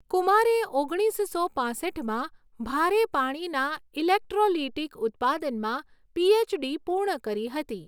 કુમારે ઓગણીસસો પાંસઠમાં ભારે પાણીના ઇલેક્ટ્રૉલીટીક ઉત્પાદનમાં પીએચડી પૂર્ણ કરી હતી.